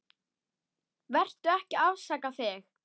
Vertu ekki að afsaka þig.